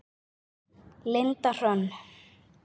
Linda Hrönn.